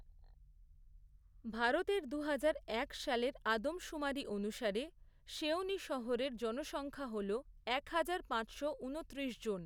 ভারতের দুহাজার এক সালের আদমশুমারি অনুসারে সেওনি শহরের জনসংখ্যা হল একহাজার, পাঁচশো ঊনত্রিশ জন।